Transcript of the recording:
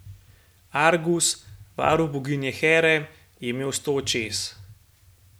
Argus, varuh boginje Here, je imel sto očes.